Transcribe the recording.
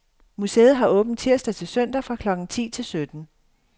Museet har åbent tirsdag til søndag fra klokken ti til sytten.